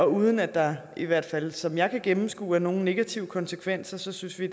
uden at der i hvert fald som jeg kan gennemskue det er nogen negative konsekvenser så synes vi